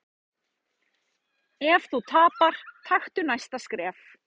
Ef þú tapar, taktu næsta skref.